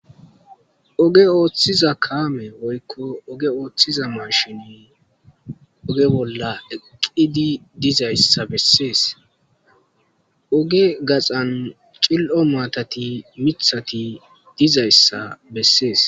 oge ooththiza kaame woykko oge ooththiza mashini oge bolla eqqidi dizayssa bessees oge gaxan cil7o maatati mithati dizayssa bessees